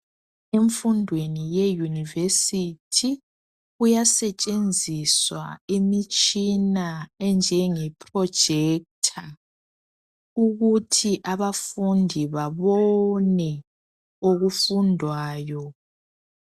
Emfundweni ye yunivesithi kuyasetshenziswa imitshina enjenge projector ukuthi abafundi babone okufundwayo.